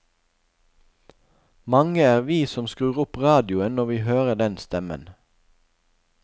Mange er vi som skrur opp radioen når vi hører den stemmen.